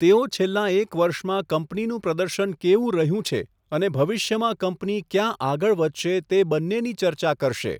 તેઓ છેલ્લાં એક વર્ષમાં કંપનીનું પ્રદર્શન કેવું રહ્યું છે અને ભવિષ્યમાં કંપની ક્યાં આગળ વધશે તે બંનેની ચર્ચા કરશે.